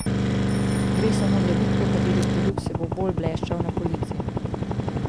Gre samo za bitko, kateri produkt se bo bolj bleščal na polici.